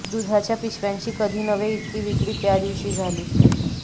दुधाच्या पिशव्यांची कधी नव्हे इतकी विक्री त्या दिवशी झाली